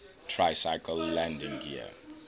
tricycle landing gear